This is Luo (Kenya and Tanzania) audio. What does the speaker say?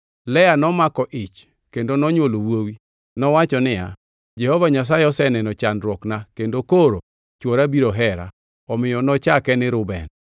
Lea nomako ich kendo nonywolo wuowi. Nowacho niya, “Jehova Nyasaye oseneno chandruokna, kendo koro chwora biro hera.” Omiyo nochake ni Reuben. + 29:32 Reuben gi dho jo-Hibrania en Nyasaye Oseneno chandruokna.